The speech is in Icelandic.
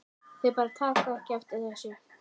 Þau bara taka ekki eftir þessu.